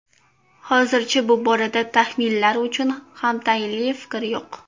Hozircha bu borada taxminlar uchun ham tayinli fikr yo‘q.